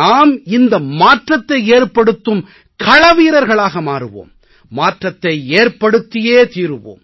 நாம் இந்த மாற்றத்தை ஏற்படுத்தும் களவீரர்களாக மாறுவோம் மாற்றத்தை ஏற்படுத்தியே தீருவோம்